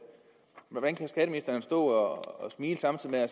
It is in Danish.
hvordan kan skatteministeren stå og smile samtidig med at